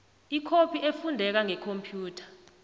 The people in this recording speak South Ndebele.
ikhophi efundeka ngekhomphiyutha